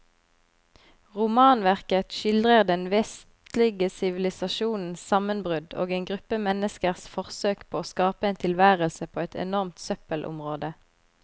Romanverket skildrer den vestlige sivilisasjons sammenbrudd og en gruppe menneskers forsøk på å skape en tilværelse på et enormt søppelområde.